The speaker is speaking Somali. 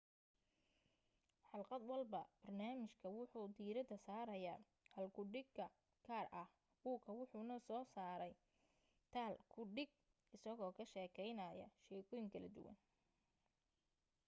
xalqad walba barnaamijka wuxuu diirada saaraya hal ku dhiga gaar ah buuga wuxuna soo saaray thal ku dhig isagoo ka sheekaynaya sheekooyin kala duwan